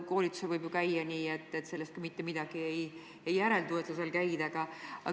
Koolitusel võib ju käia ka nii, et mitte midagi sellest ei parane, et sa seal käid.